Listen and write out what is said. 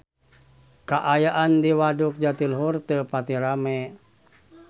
Kaayaan di Waduk Jatiluhur teu pati rame